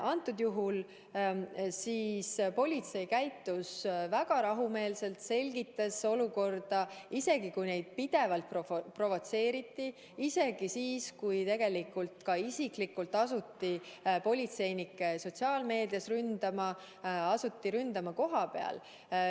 Kõnealusel juhul käitus politsei väga rahumeelselt, selgitas olukorda, isegi siis, kui neid pidevalt provotseeriti, isegi siis, kui politseinikke isiklikult asuti sotsiaalmeedias ründama, asuti ründama kohapeal.